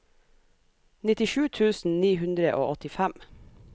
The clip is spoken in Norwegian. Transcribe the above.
nittisju tusen ni hundre og åttifem